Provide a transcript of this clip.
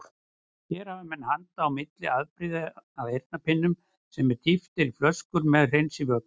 Hér hafa menn handa milli afbrigði af eyrnapinnum sem dýft er í flöskur með hreinsivökva.